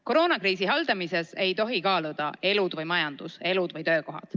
Koroonakriisi haldamisel ei tohi kaaluda, kas elud või majandus, elud või töökohad.